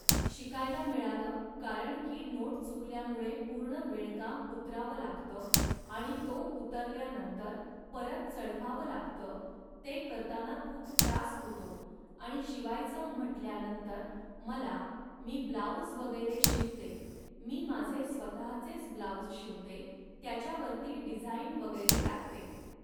शिकायला मिळालं, कारण की नोट चुकल्यामुळे पूर्ण विणकाम उतरावं लागतं, आणि तो उतरल्यानंतर परत चढवावं लागतं, ते करताना खूप त्रास होतो आणि शिवायचं म्हटल्यानंतर मला, मी ब्लॉऊज वगैरे शिवते मी माझे स्वतःचेच ब्लॉउज शिवते, त्याच्यावरती डिझाईन वगैरे टाकते